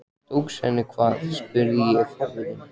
Tókst henni hvað? spurði ég forvitin.